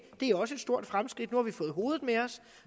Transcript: det er også et stort fremskridt nu har vi fået hovedet med os